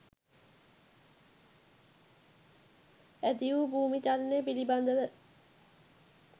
ඇතිවූ භූමිචලනය පිළිබඳව